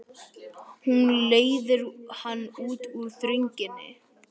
Hún leiðir hann út úr þrönginni.